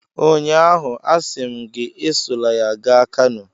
Ụnyaahụ, asị m gị, esola ya gaa Kano!